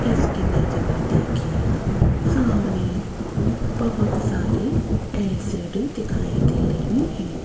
इस इमेज में देखिएगा सामने बहोत सारी एल_सी_डी दिखाई दे रही हैं।